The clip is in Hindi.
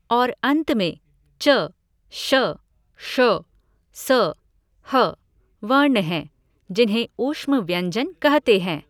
और अंत में च श ष स ह वर्ण हैं, जिन्हें ऊष्म व्यञ्जन कहते हैं।